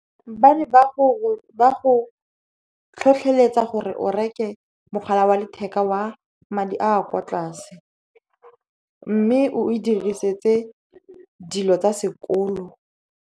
Ba ne go tlhotlheletsa gore o reke mogala wa letheka wa madi a kwa tlase, mme o e diriseditse dilo tsa sekolo.